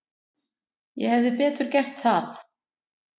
Ég hefði betur gert það.